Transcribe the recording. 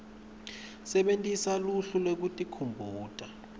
sebentisa luhlu lwekutikhumbuta